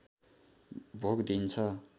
भोग दिइन्छ